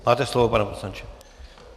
Máte slovo, pane poslanče.